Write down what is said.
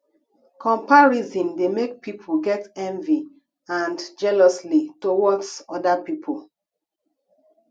comparison dey make pipo get envy and jealously towards oda pipo